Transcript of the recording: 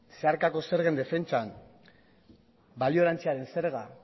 zeharkako zergen defentsan balio erantsiaren zerga